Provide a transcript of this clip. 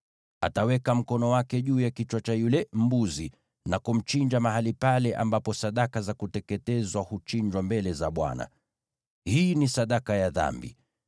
Ataweka mkono wake juu ya kichwa cha yule mbuzi na kumchinja mahali pale ambapo sadaka za kuteketezwa huchinjiwa mbele za Bwana . Hii ni sadaka ya dhambi.